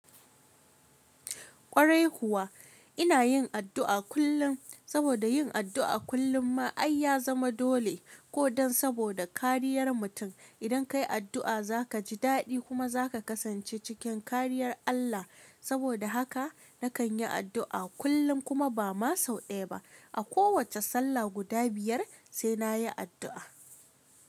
Ƙwarai kuwa ina yin addu'a kullum, saboda yin addu'a kullum ma ai ya zama dole ko don saboda kariyar mutum. Idan ka yi addu'a, za ka ji daɗi kuma za ka kasance cikin kariyar Allah. Saboda haka na kan yi addu'a kullum kuma ba ma sau ɗaya ba. A kowace sallah guda biyar sai na yi addu'a.